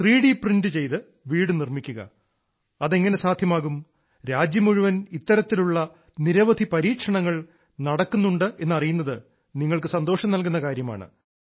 ത്രി D print ചെയ്ത വീട് നിർമ്മിക്കുക അതെങ്ങനെ സാധ്യമാകും രാജ്യം മുഴുവനും ഇത്തരത്തിലൂള്ള നിരവധി പരീക്ഷണങ്ങൾ നടക്കുന്നുണ്ടെന്നറിയുന്നത് നിങ്ങൾക്ക് സന്തോളം നൽകുന്ന കാര്യമാണ്